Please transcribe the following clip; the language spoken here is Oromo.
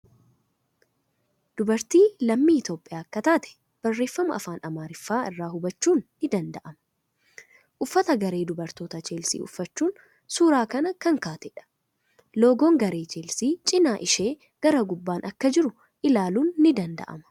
Dubartii lammii Itiyoophiyyaa akka taate barreeffama afaan Amaariffaa irraa hubachuun ni danda'ama. Uffata garee dubartoota Cheelsii uffachuun suuraa kan kaatedha. Loogoon garee Cheelsii cimaa ishee gara gubbaan akka jiru ilaalun ni danda'ama.